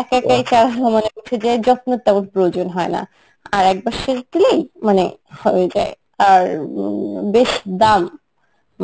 একা একাই চারা মানে উঠে যায় যত্ন তেমন প্রয়োজন হয়না, আর একবার সেচ দিলেই মানে হয়ে যায় আর উম বেশ দাম,